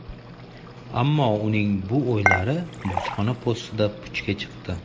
Ammo uning bu o‘ylari bojxona postida puchga chiqdi.